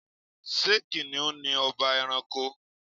Ṣé Kìnìún ni ọba ẹranko?